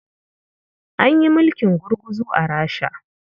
An yi mulkin gurguzu a Rasha.